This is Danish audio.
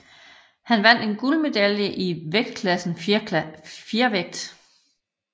Han vandt en guldmedalje i vægtklassen fjervægt